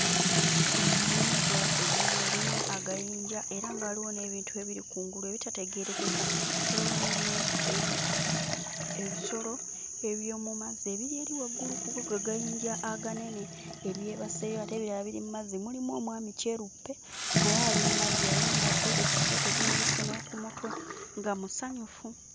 Ennyanja ennene erimu agayinja era nga waliwo n'ebintu ebiri ku ngulu ebitategeerekeka. Waliwo n'ebinyo ebi ebisolo eby'omu mazzi ebiri eri waggulu ku ago agayinja aganene ebyebaseeyo, ate ebirala biri mu mazzi, mulimu omwami kyeruppe naye ali mmazzi ayambadde ekisweeta ekimupbisse ne ku mutwe nga musanyufu.